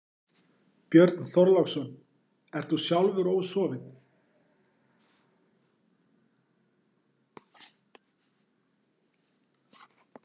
Björn Þorláksson: Ert þú sjálfur ósofinn?